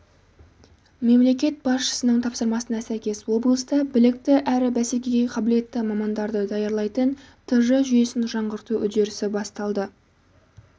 мемлекет басшысының тапсырмасына сәйкес облыста білікті әрі бәсекеге қабілетті мамандарды даярлайтын тж жүйесін жаңғырту үдерісі басталды